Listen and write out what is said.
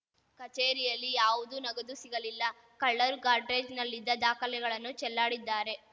ಕಚೇರಿಯಲ್ಲಿ ಯಾವುದೂ ನಗದು ಸಿಗಲಿಲ್ಲ ಕಳ್ಳರು ಗಾಡ್ರೇಜ್‌ನಲ್ಲಿದ್ದ ದಾಖಲೆಗಳನ್ನು ಚೆಲ್ಲಾಡಿದ್ದಾರೆ